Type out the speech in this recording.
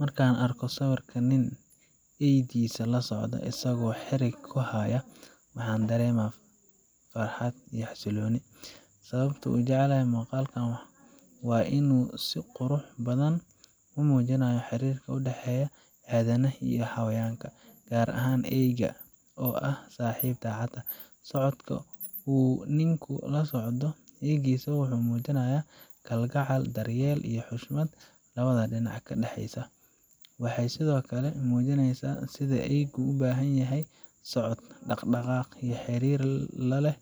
Markaan arko sawirka nin eeydiisa la socda isagoo xarig ku haya, waxaan dareemaa farxad iyo xasillooni. Sababta aan u jeclahay muuqaalkan waa in uu si qurux badan u muujinayo xiriirka u dhexeeya aadanaha iyo xayawaanka, gaar ahaan eeyga oo ah saaxiib daacad ah. Socodka uu ninku la socdo eeygiisa wuxuu muujinayaa kalgacal, daryeel, iyo xushmad labada dhinacba ka dhaxeysa. Waxay sidoo kale muujinaysaa sida eeygu u baahan yahay socod, dhaqdhaqaaq, iyo xiriir la leh